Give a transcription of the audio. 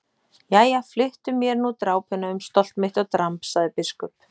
Jæja, flyttu mér nú drápuna um stolt mitt og dramb, sagði biskup.